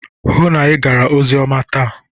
Hụụ na Ị gara oziọma taa!